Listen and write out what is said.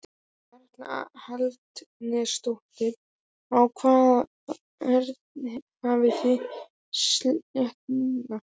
Erla Hlynsdóttir: Á hvaða verði hafið þið selt lúðuna?